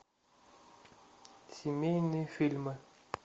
семейные фильмы